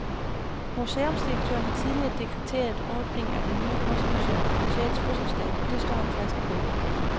Museumsdirektøren har tidligere dekreteret åbning af det nye kunstmuseum på museets fødselsdag, og det står han fast på.